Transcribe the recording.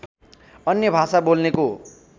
अन्य भाषा बोल्नेको